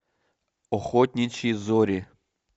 охотничьи зори